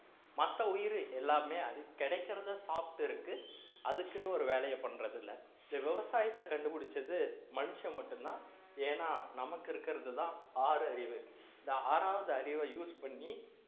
மத்த உயிர் எல்லாமே அது கிடைக்கிறதை சாப்பிட்டு இருக்கு அதுக்குன்னு ஒரு வேலையை பண்றது இல்லை இந்த விவசாயத்தை கண்டுபிடிச்சது மனுஷன் மட்டும்தான் ஏன்னா நமக்கு இருக்கிறதுதான் ஆறறிவு இந்த ஆறாவது அறிவை use பண்ணி